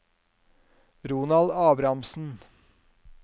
Ronald Abrahamsen